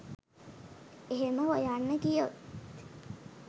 එහෙම හොයන්න ගියොත්